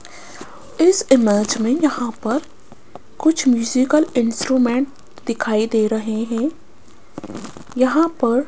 इस इमेज में यहां पर कुछ म्यूजिकल इंस्ट्रूमेंट दिखाई दे रहे हैं यहां पर --